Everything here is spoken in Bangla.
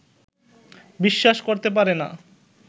বিশ্বাস করতে পারে না